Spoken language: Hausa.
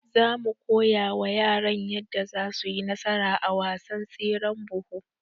zamu koyawa yaran yadda zasuyi nasara a wasan tseren buhu